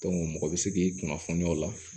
mɔgɔ bɛ se k'i kunnafoniya o la